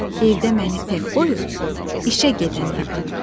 Evdə məni tək qoyur işə gedəndə anam.